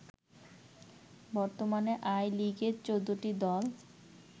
বর্তমানে আই লিগে ১৪ টি দল